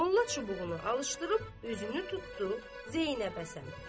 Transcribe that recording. Molla çubuğunu alışdırıb özünü tutdu Zeynəbə sarı.